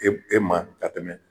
ema ka tɛmɛ